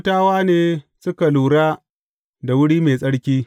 Kohatawa ne suke lura da wuri mai tsarki.